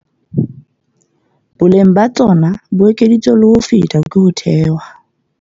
Boleng ba tsona bo ekeditswe le ho feta ke ho thewa ha